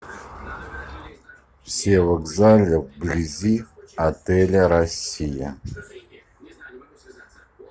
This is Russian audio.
все вокзалы вблизи отеля россия